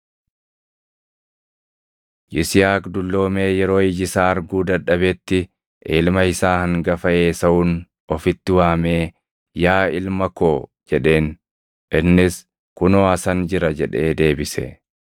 Yisihaaq dulloomee yeroo iji isaa arguu dadhabetti ilma isaa hangafa Esaawun ofitti waamee, “Yaa ilma koo” jedheen. Innis, “Kunoo asan jira” jedhee deebise.